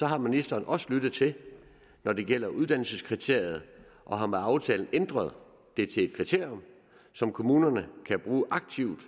har ministeren også lyttet når det gælder uddannelseskriteriet og har med aftalen ændret det til et kriterium som kommunerne kan bruge aktivt